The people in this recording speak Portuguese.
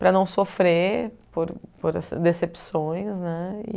Para não sofrer por por decepções, né? E